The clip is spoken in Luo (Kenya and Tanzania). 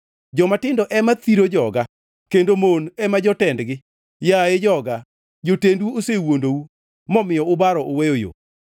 Jomatindo ema thiro joga kendo mon ema jotendgi. Yaye joga, jotendu osewuondou, momiyo ubaro uweyo yo.